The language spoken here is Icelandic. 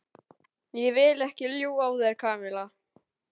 Ég vil ekki ljúga að þér, Kamilla.